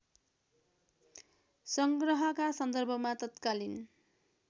संग्रहका सन्दर्भमा तत्कालीन